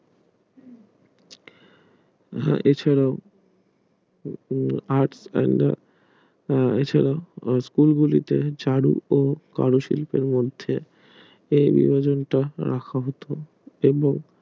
উম কিছু আহ জন্য এছাড়াও স্কুল গুলিতে চালু ও গবেষণ গুলির মধ্যে